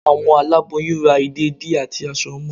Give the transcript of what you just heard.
Àwọn àláboyún rá ìdédií atí aṣọ ọmọ